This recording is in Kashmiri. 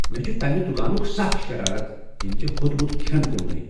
مےٚ چھ تمہ دکانُک سخ شرارت ییٚمۍ ژےٚ ہوٚتمت کھین کُننے۔